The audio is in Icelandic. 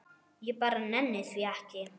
Ég bara nenni því ekki.